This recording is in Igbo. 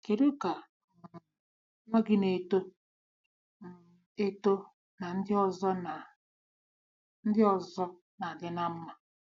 Kedu ka um nwa gị n'eto um eto na ndị ọzọ na ndị ọzọ na-adị ná mma?